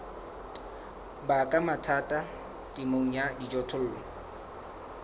baka mathata temong ya dijothollo